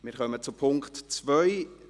Wir kommen zum Punkt 2;